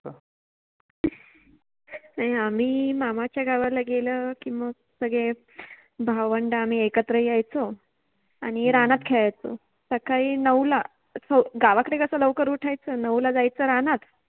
नाहि आम्ही मामाच्या गावाला गेल कि मग सगळे भावंड आम्ही एकत्र यायचो आणि रानात खेळायचो. सकळि नऊ ला हो, गावाकडे कस लवकर उठायच नऊ ला जायच रानात